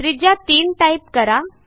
त्रिज्या 3 टाईप करा